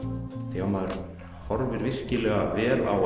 þegar maður horfir virkilega vel á